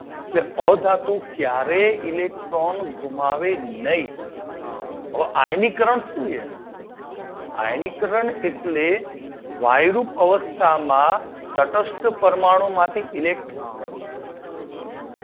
જે અધાતુ ક્યારેય ઇલેક્ટ્રોન ગુમાવે નહી. તો આયનીયકરણ શું છે? આયાનીકરન એટલે વાયુ અવસ્થામાં તટસ્થ પરમાણુમાંથી ઇલેક્ટ્રોન